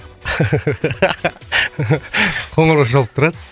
қоңырау шалып тұрады